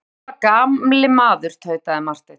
Vitstola gamli maður, tautaði Marteinn.